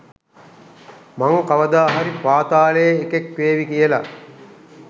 මං කවදා හරි පාතාලේ එකෙක් වේවි කියල.